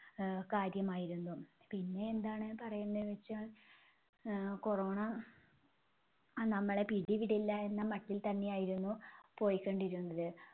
അഹ് കാര്യമായിരുന്നു. പിന്നെ എന്താണ് പറയേണ്ടന്നു വച്ചാൽ ആഹ് corona അ നമ്മളെ പിടിവിടില്ല എന്ന മട്ടിൽ തന്നെയായിരുന്നു പോയികൊണ്ടിരുന്നത്.